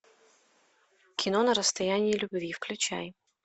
кино на расстоянии любви включай